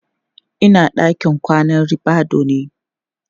Ina a ɗakin kwanan ribadu ne